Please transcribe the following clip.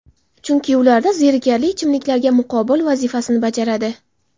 chunki ular zerikarli ichimliklarga muqobil vazifasini bajaradi.